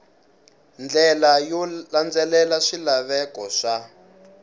ndlela yo landzelela swilaveko swa